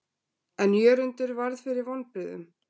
En Jörundur varð fyrir vonbrigðum.